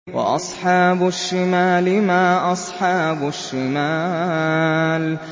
وَأَصْحَابُ الشِّمَالِ مَا أَصْحَابُ الشِّمَالِ